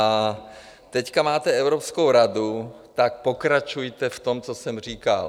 A teď máte Evropskou radu, tak pokračujte v tom, co jsem říkal.